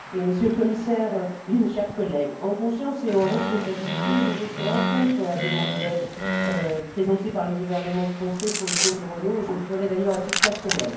Madame la Présidente, Monsieur le Commissaire, chers collègues, en conscience et en responsabilité, je voterai contre la demande d'aide présentée par le gouvernement français pour le compte de Renault et je le ferai d'ailleurs à titre personnel.